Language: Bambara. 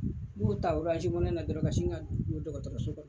N kun be taa woro na dɔrɔn ka sin ka don dɔgɔtɔrɔso la.